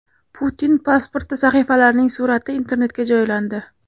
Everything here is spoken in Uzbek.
Putin pasporti sahifalarining surati Internetga joylandi.